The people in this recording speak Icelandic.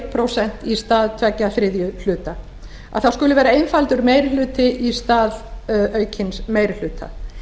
prósent í stað tveggja þriðju að það skuli vera einfaldur meiri hluti í stað aukins meiri hluta